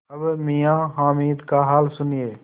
अब मियाँ हामिद का हाल सुनिए